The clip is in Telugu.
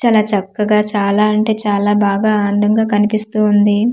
చాలా చక్కగా చాలా అంటే చాలా బాగా అందంగా కనిపిస్తూ ఉంది.